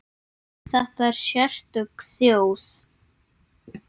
Þetta er sérstök þjóð.